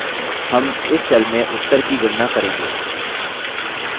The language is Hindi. हम इस cell में उत्तर की गणना करेंगे